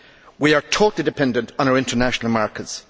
We are totally dependent on our international markets.